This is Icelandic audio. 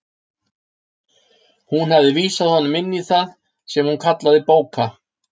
Hún hafði vísað honum inn í það sem hún kallaði bóka